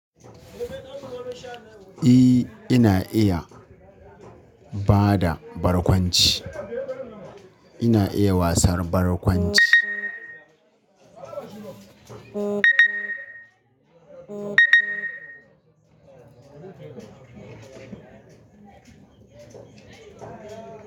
Eh ina iya bada barkwanci. Ina iya wasar barkwanci.